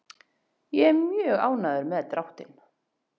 Ég er mjög ánægður með dráttinn.